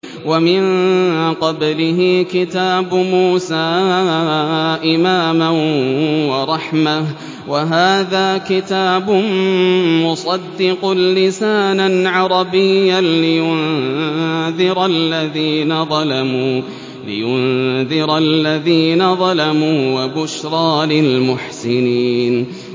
وَمِن قَبْلِهِ كِتَابُ مُوسَىٰ إِمَامًا وَرَحْمَةً ۚ وَهَٰذَا كِتَابٌ مُّصَدِّقٌ لِّسَانًا عَرَبِيًّا لِّيُنذِرَ الَّذِينَ ظَلَمُوا وَبُشْرَىٰ لِلْمُحْسِنِينَ